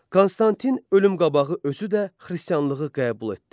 Konstantin ölüm qabağı özü də xristianlığı qəbul etdi.